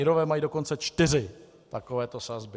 Irové mají dokonce čtyři takovéto sazby.